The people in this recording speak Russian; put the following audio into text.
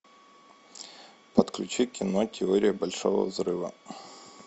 подключи кино теория большого взрыва